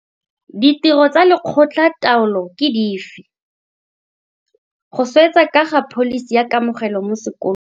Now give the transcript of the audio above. Ditiro tsa lekgotla taolo ke dife? Go swetsa ka ga pholisi ya kamogelo mo sekolo.